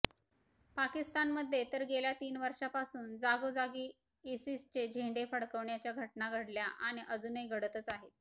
पाकिस्तानमध्ये तर गेल्या तीन वषार्र्ंपासून जागोजागी इसिसचे झेंडे फडकण्याच्या घटना घडल्या आणि अजूनही घडतच आहेत